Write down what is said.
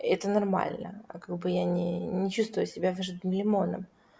это нормально а как бы я не не чувствую себя выжатым лимоном